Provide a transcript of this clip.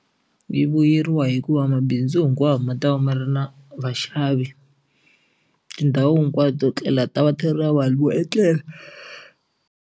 Yi vuyeriwa hikuva mabindzu hinkwawo ma ta va ma ri na vaxavi tindhawu hinkwato to tlela ti ta va ti ri na vanhu vo etlela.